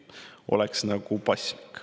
Oleks nagu paslik.